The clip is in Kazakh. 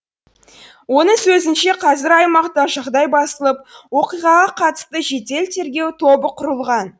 оның сөзінше қазір аймақта жағдай басылып оқиғаға қатысты жедел тергеу тобы құрылған